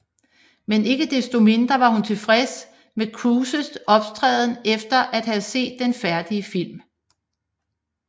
Men ikke desto mindre var hun tilfreds med Cruises optræden efter at have set den færdige film